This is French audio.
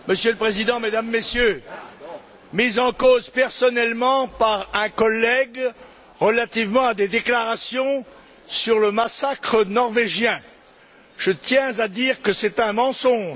Monsieur le Président, Mesdames, Messieurs, j'ai été mis en cause personnellement par un collègue quant à des déclarations sur le massacre norvégien je tiens à dire que c'est un mensonge.